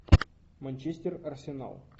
манчестер арсенал